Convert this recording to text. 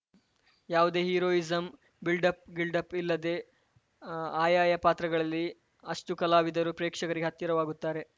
ಯಾವುದೇ heroism buildup ಗಿಲ್ಡಪ್‌ ಇಲ್ಲದೆ ಆ ಆಯಾ ಪಾತ್ರಗಳಲ್ಲಿ ಅಷ್ಟುಕಲಾವಿದರು ಪ್ರೇಕ್ಷಕರಿಗೆ ಹತ್ತಿರವಾಗುತ್ತಾರೆ